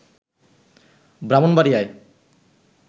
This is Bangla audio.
ব্রাহ্মণবাড়িয়া